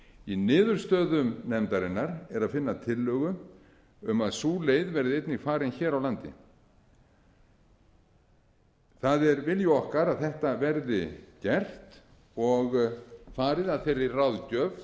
í niðurstöðum nefndarinnar er að finna tillögu um að sú leið verði einnig farin hér á landi það er vilji okkar að þetta verði gert og farið að þeirri ráðgjöf